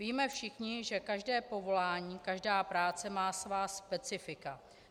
Víme všichni, že každé povolání, každá práce má svá specifika.